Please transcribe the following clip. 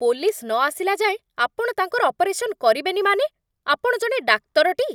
Police ନ ଆସିଲା ଯାଏଁ ଆପଣ ତାଙ୍କର ଅପରେସନ୍ କରିବେନି, ମାନେ? ଆପଣ ଜଣେ ଡାକ୍ତର ଟି?